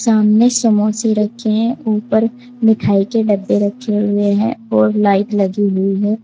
सामने समोसे रखे हैं ऊपर मिठाई के डब्बे रखे हुए हैं और लाइट लगी हुई है।